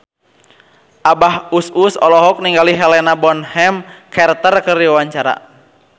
Abah Us Us olohok ningali Helena Bonham Carter keur diwawancara